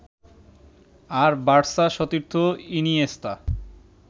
আর Barca সতীর্থ Iniesta